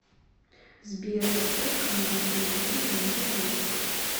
сбер поставь канал телевидения живи